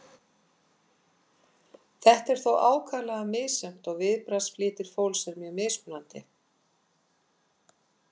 Þetta er þó ákaflega misjafnt og viðbragðsflýtir fólks er mjög mismunandi.